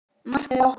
Markmið okkar?